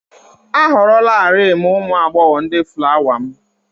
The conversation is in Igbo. A họrọlarị m ụmụ agbọghọ ndị fulawa m